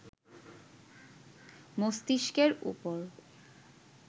মস্তিষ্কের ওপর